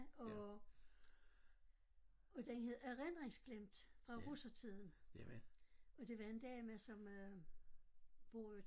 Og og den hed Erindringsglemt Fra Russertiden og det var en dame som øh bor